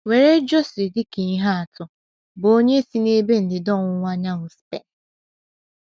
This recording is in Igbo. Were José dị ka ihe atu, bụ́ onye si n’ebe ndịda ọwụwa anyanwụ Spen.